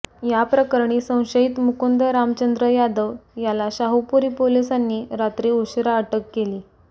या प्रकरणी संशयित मुकुंद रामचंद्र यादव याला शाहुपुरी पोलिसांनी रात्री उशिरा अटक केली